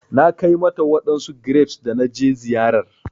Na Kai mata wadansu grapes da na je ziyarar